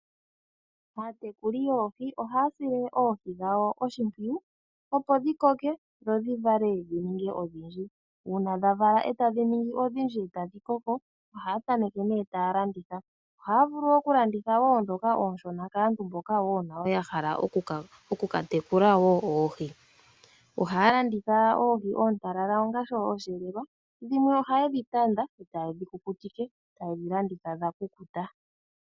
Aatekuli yoohi ohaya sile oohi dhawo oshimpwiyu opo dhi koke dho dhi vale dhi ninge odhindji. Uuna dha vala eta dhi ningi odhindji eta dhi koko, ohaya tameke ne taya landitha. Ohaya vulu wo okulanditha wo ndhoka oonshona kaantu mboka wo nayo ya hala oku ka tekula wo oohi. Ohaya landitha oohi oontalala onga oshiyelelwa, dhimwe ohaye dhi tanda eta ye dhi kukutike eta ye dhi landitha dha kukuta.